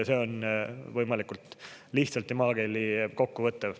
See on võimalikult lihtsalt ja maakeeli kokku võttev.